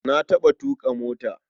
Na taɓa tuƙa mota.